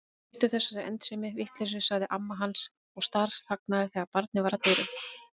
Hættu þessari endemis vitleysu sagði amma hans en snarþagnaði þegar barið var að dyrum.